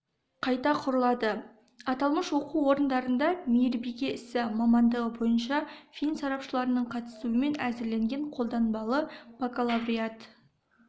қайта құрылады аталмыш оқу орындарында мейірбике ісі мамандығы бойынша фин сарапшыларының қатысуымен әзірленген қолданбалы бакалавриат